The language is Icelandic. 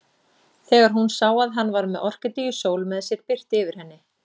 Þegar hún sá að hann var með Orkídeu Sól með sér birti yfir henni.